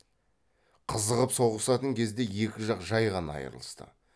қызығып соғысатын кезде екі жақ жай ғана айрылысты